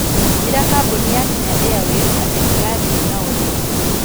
Ĩra kambuni ya Kenya airways atĩ ndigathiĩ nao rĩngĩ